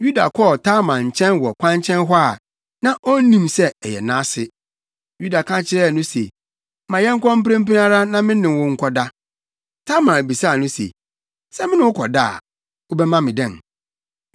Yuda kɔɔ Tamar nkyɛn wɔ kwankyɛn hɔ a, na onnim sɛ ɔyɛ nʼase. Yuda ka kyerɛɛ no se, “Ma yɛnkɔ mprempren ara na me ne wo nkɔda.” Tamar bisaa no se, “Sɛ me ne wo kɔda a, wobɛma me dɛn?”